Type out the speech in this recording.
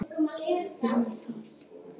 Þú um það.